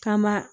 K'an ba